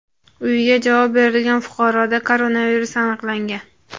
uyiga javob berilgan fuqaroda koronavirus aniqlangan.